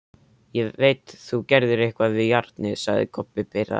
Ég veit þú gerðir eitthvað við járnið, sagði Kobbi pirraður.